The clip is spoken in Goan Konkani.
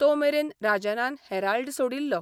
तोमेरेन राजनान हेराल्ड सोडिल्लो.